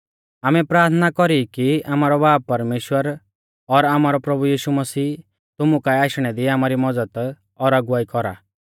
आमै प्राथना कौरी की आमारौ बाब परमेश्‍वर और आमारौ प्रभु यीशु मसीह तुमु काऐ आशणै दी आमारी मज़द और अगुवाई कौरा